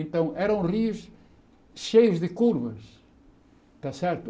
Então, eram rios cheios de curvas, está certo?